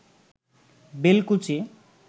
Belkuchi